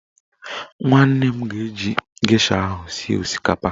Nwanne m ga-esi gesha ahụ sie osikapa